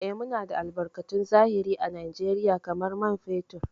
Eh, Muna da albarkatun zahiri à Najeriya kamar man fetur.